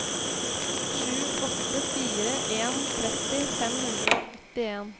sju åtte fire en tretti fem hundre og åttien